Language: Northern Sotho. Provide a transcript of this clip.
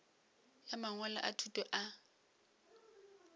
ya mangwalo a thuto a